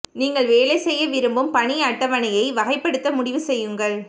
நீங்கள் வேலை செய்ய விரும்பும் பணி அட்டவணையை வகைப்படுத்த முடிவு செய்யுங்கள்